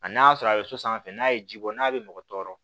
A n'a sɔrɔ a bɛ so sanfɛ n'a ye ji bɔ n'a bɛ mɔgɔ tɔɔrɔ